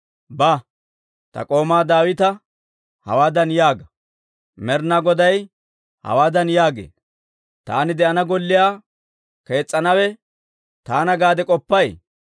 «Ba; ta k'oomaa Daawita hawaadan yaaga; Med'inaa Goday hawaadan yaagee; ‹Taani de'ana golliyaa kees's'anawe taana gaade k'oppay?